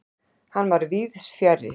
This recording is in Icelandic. Hann var víðsfjarri.